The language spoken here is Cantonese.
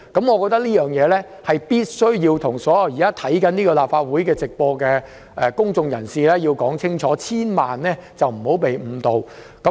我認為必須向正在觀看立法會會議直播的公眾人士清楚說明這一點，他們千萬不要被誤導。